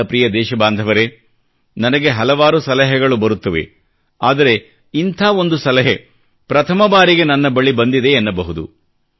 ನನ್ನ ಪ್ರಿಯ ದೇಶಬಾಂಧವರೇ ನನಗೆ ಹಲವಾರು ಸಲಹೆಗಳು ಬರುತ್ತವೆ ಆದರೆ ಇಂಥ ಒಂದು ಸಲಹೆ ಪ್ರಥಮ ಬಾರಿಗೆ ನನ್ನ ಬಳಿ ಬಂದಿದೆ ಎನ್ನಬಹುದು